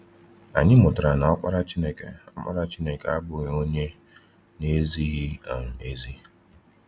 Anyị mụtara na Ọkpara Chineke Ọkpara Chineke abụghị onye na-ezighị um ezi.